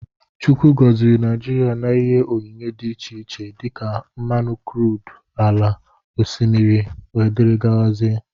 Chukwu goziri Naijiria na ihe onyinyé dị iche iche dika: Mmanụ crudú, ala, oshimiri wdg.